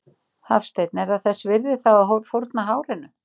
Hafsteinn: Er það þess virði þá að fórna hárinu?